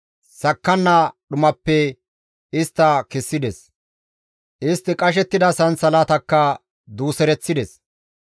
Sakkanna dhumappe istta kessides; istti qashettida sansalatakka duusereththides.